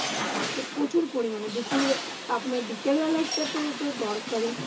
প্রচুর মানে দুপুরবেলা, আপনার বিকেল বেলাটাতে তো দরকারি।